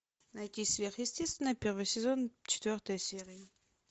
найти сверхъестественное первый сезон четвертая серия